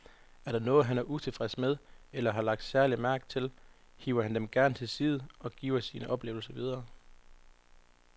Er der noget, han er utilfreds med eller har lagt særlig mærke til, hiver han dem gerne til side og giver sine oplevelser videre.